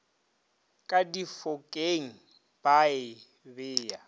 ka difokeng ba e beya